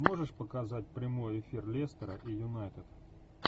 можешь показать прямой эфир лестера и юнайтед